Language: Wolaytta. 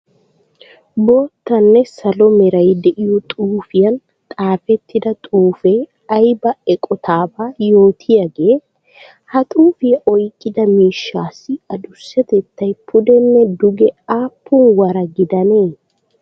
Boottanne salo meray de'iyo xuufiyan xaafettidda xuufe aybba eqotaaba yootiyaagee? Ha xuufiya oyqqida miishshassi addussatettay puddenne duge aapun wara gidannee?